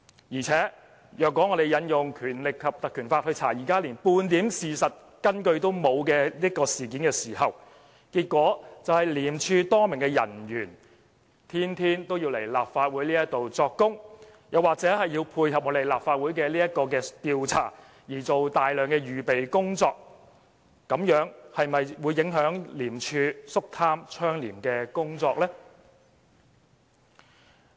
況且，如果我們引用《條例》來調查現時連半點事實根據也沒有的事件，結果將會是廉署多名人員每天均要前來立法會作供，或要為配合立法會的調查而做大量準備工夫，這樣是否會影響廉署執行肅貪倡廉的工作呢？